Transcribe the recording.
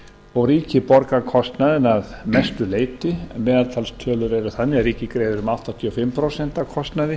og ríkið borgar kostnaðinn að mestu leyti meðaltalstölur eru þannig að ríkið greiðir um áttatíu og fimm prósent af kostnaði